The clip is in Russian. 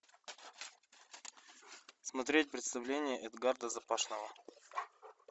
смотреть представление эдгарда запашного